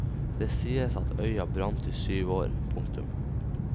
Det sies at øya brant i syv år. punktum